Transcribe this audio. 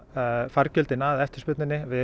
fargjöldin að eftirspurninni við